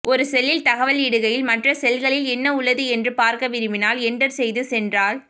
ஒரு செல்லில் தகவல் இடுகையில் மற்ற செல்களில் என்ன உள்ளது என்று பார்க்க விரும்பினால் என்டர் செய்து சென்றால்